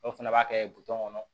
Dɔw fana b'a kɛ kɔnɔ